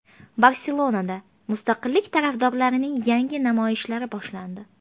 Barselonada mustaqillik tarafdorlarining yangi namoyishlari boshlandi.